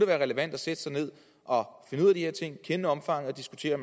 være relevant at sætte sig ned og finde ud af de her ting kende omfanget og diskutere